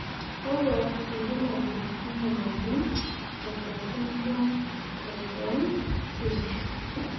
kakua irbulabol lena moyian e Usher syndrome, type 1C?